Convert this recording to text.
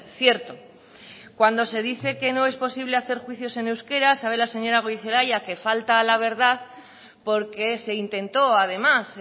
cierto cuando se dice que no es posible hacer juicios en euskera sabe la señora gorizelaia que falta a la verdad porque se intentó además